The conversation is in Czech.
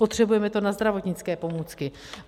Potřebujeme to na zdravotnické pomůcky.